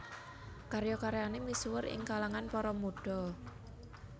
Karya karyane misuwur ing kalangan para mudha